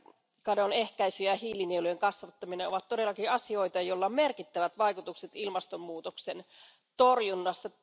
Metsäkadon ehkäisy ja hiilinielujen kasvattaminen ovat todellakin asioita, joilla on merkittävät vaikutukset ilmastonmuutoksen torjunnassa.